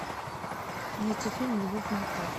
найти фильм любовь морковь